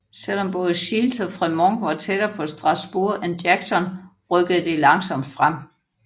Selv om både Shields og Frémont var tættere på Strasburg end Jackson rykkede de langsomt frem